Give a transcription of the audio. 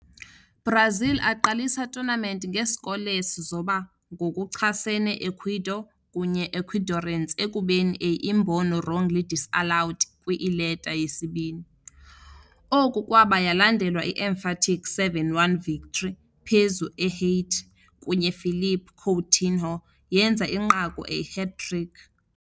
Brazil aqalisa tournament nge scoreless zoba ngokuchasene Ecuador, kunye Ecuadorians ekubeni a imbono wrongly disallowed kwi-ileta yesibini. Oku kwaba yalandelwa i-emphatic 7-1 victory phezu Ehaiti, kunye Philippe Coutinho yenza inqaku a hat-trick.